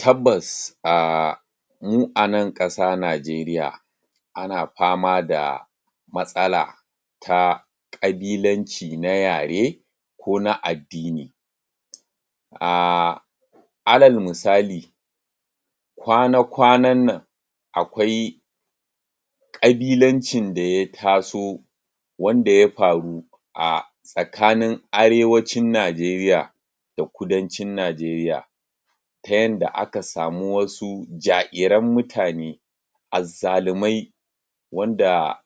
Tabbas ahhh, mu a nan ƙasa najeriya ana fama da matsala ta ƙabilanci na yare ko na addini ahh alal misali kwana-kwanan nan akwai ƙabilancin da ya taso wanda ya faru a tsakanin arewacin najeriya da kudancin najeriya ta yanda aka samu wasu ja'iran mutane azzalumai wanda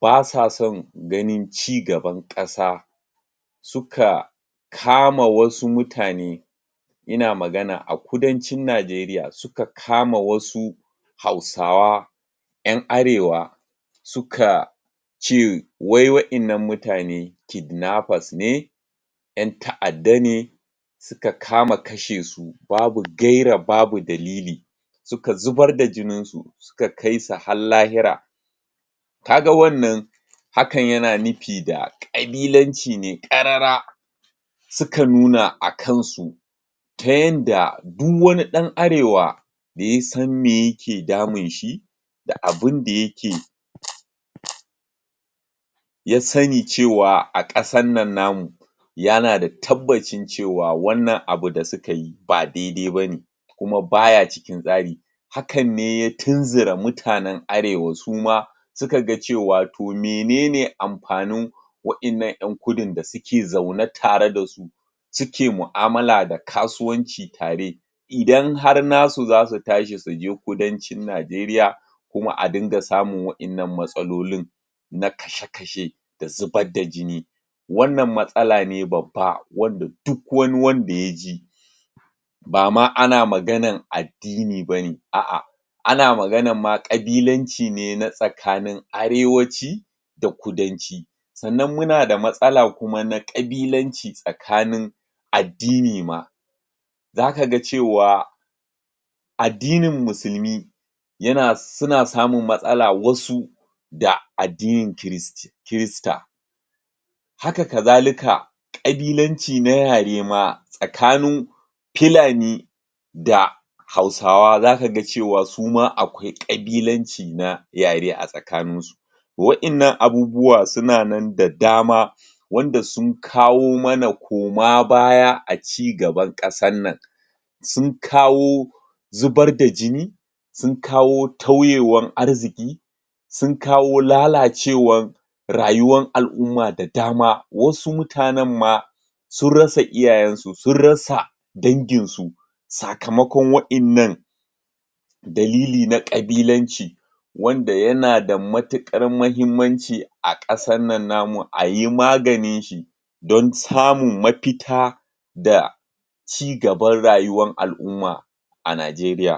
basason ganin ci gaban kasa suka kama wasu mutane ina maganan a kudancin najeriya suka kama wasu hausawa ƴan arewa suka ce wai wa innan mutane kidnappers ne ƴan ta'adda ne suka fara kashesu babu gaira babu dalili suka zubar da jinin su suka kaisu har lahira kaga wannan hakan yana nufi da ƙabilanci ne karara suka nuna a kansu ta yanda du wani ɗan arewa da ya san me yake damunshi da abunda yake um um ya sani cewa a kasan nan namu yana da tabbacin cewa wannan abu da sukayi ba dai-dai bane kuma baya cikin tsari hakanne ya tunzura mutanen arewa suma sukaga cewa to mene ne amfanin wa innan ƴan kudun da suke zaune tare dasu suke mu'amala da kasuwanci tare idan har nasu zasu tashi suje kudancin najeriya kuma a dinga samun wa innan matsalolin na kashe-kashe da zubar da jini wannan matsala ne babba wanda duk wani wanda yaji ba ma ana maganan addini bane a'a ana maganan ma kabilanci ne na tsakanin arewaci da kudanci sannan muna da matsala kuma na ƙabilanci tsakanin addini ma zakaga cewa addinin musulmi yana suna samun matsala wasu da addinin christi.. christa haka kazalika kabilanci na yare ma tsakanin filani da hausawa, zakaga cewa su ma akwai kabilanci na yare a tsakaninsu wa innan abubuwa suna nan da dama wanda sun kawo mana koma baya a ci gaban ƙasan nan sun kawo zubar da jini sun kawo sun kawo lalacewan rayuwan al'umma da damaa wasu mutanen ma sun rasa iyayensu sun rasa danginsu sakamakon wa innan dalili na kabilanci wanda yana da matukar mahimmanci a ƙasan nan namu ayi maganinshi don samin mafita da ci gaban rayuwan al'ummaa a najeriya